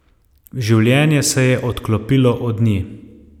Življenje se je odklopilo od nje.